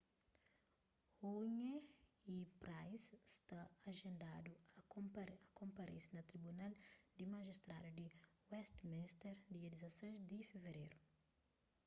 huhne y pryce sta ajendadu a konparese na tribunal di majistradus di westminster dia 16 di fevereru